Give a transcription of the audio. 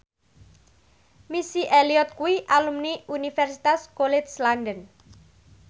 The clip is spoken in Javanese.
Missy Elliott kuwi alumni Universitas College London